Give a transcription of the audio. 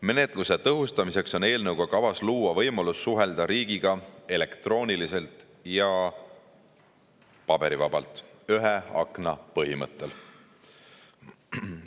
Menetluse tõhustamiseks on eelnõu kohaselt kavas luua võimalus suhelda riigiga elektrooniliselt ja paberivabalt, ühe akna põhimõttel.